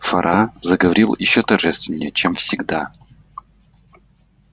фара заговорил ещё торжественнее чем всегда